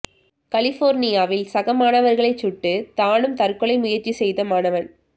கலிபோர்னியாவில் சக மாணவர்களை சுட்டு தானும் தற்கொலை முயற்சி செய்த மாணவன்